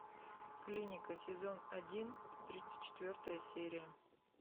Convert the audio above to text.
клиника сезон один тридцать четвертая серия